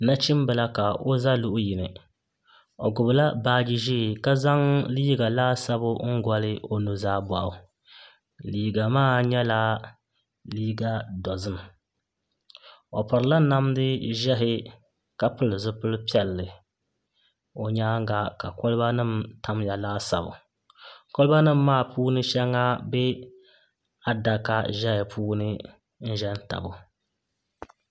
Nachimbila ka o ʒɛ luɣu yini o gbubila baaji ʒiɛ ka zaŋ liiga laasabu n goli o nuzaa boɣu liiga maa nyɛla liiga dozim o pirila namdi ʒiɛhi ka pili zipili piɛlli o nyaanga ka kolba nim ʒɛya laasabu kolba nim maa shɛli ʒɛ adaka ni n ʒɛ tabo